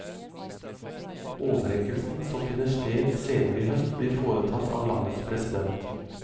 Overrekkelsen, som finner sted senere i høst, blir foretatt av landets president.